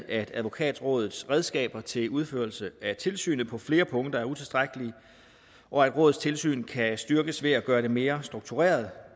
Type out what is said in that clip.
at advokatrådets redskaber til udførelse af tilsynet på flere punkter er utilstrækkelige og at rådets tilsyn kan styrkes ved at gøre det mere struktureret